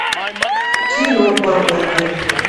кино бамблби